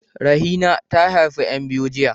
Rahina ta haifi ƴan biyu jiya.